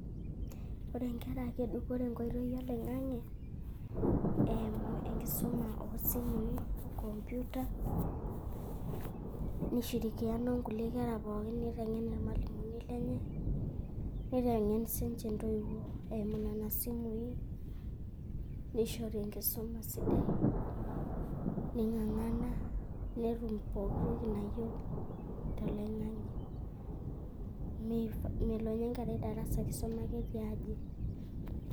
Ore enkera kedupore enkoitoi oloing'ang'e eimu enkisuma osimui, computer, Nishirikiana ongulie kera pooki neitengen ilmalimu lenye neitengen sininche ntoiwuo eimu nena simui, neishori enkisuma sidai neingangana netum pooki toki nayieu toloinga'nge melo ninye enkerai darasa keisuma ake tiaji.